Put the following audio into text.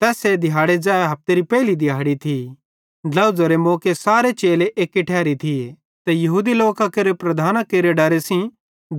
तैस्से दिहैड़ी ज़ै हफतेरी पेइली दिहाड़ी थी ड्लोझ़रे मौके सारे चेले एक्की ठैरी थिये ते यहूदी लोकां केरे प्रधानां केरे डरे सेइं